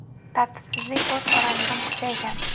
Tartibsizlik o‘z oramizda ham kuchaygan.